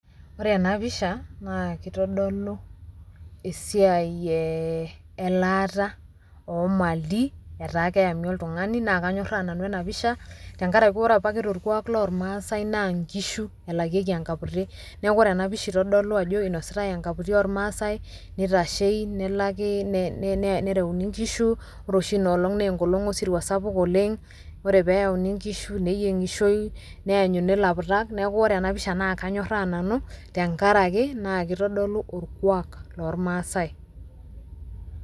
Ore enapisha naa kitodolu esiai elaata omali etaa keemi oltung'ani naa kanyorraa nanu enapisha, tenkaraki ore apake torkuak lormasai naa nkishu elakieki enkaputi. Neeku ore enapisha itodolu ajo inositai enkaputi ormaasai, nitashei, nelaki nereuni nkishu, ore oshi inoolong nenkolong osirua sapuk oleng, ore peyauni nkishu neyieng'ishoi, neyanyuni laputak, neeku ore enapisha naa kanyorraa nanu, tenkaraki naa kitodolu orkuak lormasai.